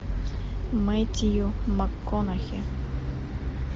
мэттью макконахи